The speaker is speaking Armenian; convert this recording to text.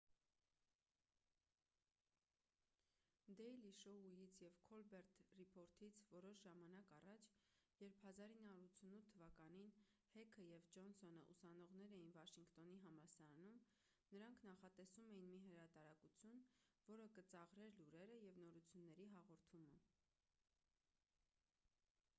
դեյլի շոույից և քոլբերտ ռիփորթից որոշ ժամանակ առաջ երբ 1988 թվականին հեքը և ջոնսոնը ուսանողներ էին վաշինգտոնի համալսարանում նրանք նախատեսում էին մի հրատարակություն որը կծաղրեր լուրերը և նորությունների հաղորդումը